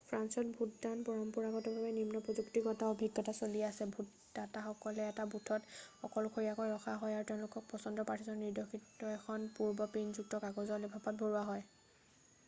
ফ্ৰান্সত ভোটদানত পৰম্পৰাগতভাৱে নিম্ন-প্ৰযুক্তিগত অভিজ্ঞতা চলি আছে ভোটদাতাসকলক এটা বুথত অকলশৰীয়াকৈ ৰখা হয় তেওঁলোকৰ পচন্দৰ প্ৰাৰ্থীজনক নিৰ্দেশিত এখন পূৰ্ব-প্ৰিণ্টযুক্ত কাগজ লেফাফাত ভৰোৱা হয়